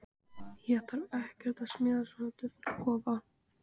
Honum finnst hann vera að skýra frá uppgötvun.